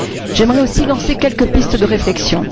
J'aimerais aussi lancer quelques pistes de réflexion.